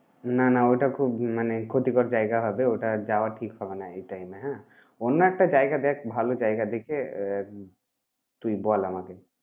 না, না ওটা খুব মানে ক্ষতিকর জায়গা হবে। ওটা যাওয়া ঠিক হবে না এই time এ হ্যাঁ। অন্য একটা জায়গা দেখ, ভালো জায়গা দেখে আহ তুই বল আমাকে।